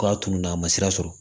K'a tununa a ma sira sɔrɔ